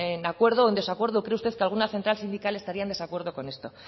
de acuerdo o en desacuerdo o cree usted que alguna central sindical estaría en desacuerdo con esto